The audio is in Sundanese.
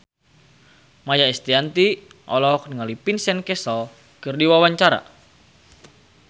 Maia Estianty olohok ningali Vincent Cassel keur diwawancara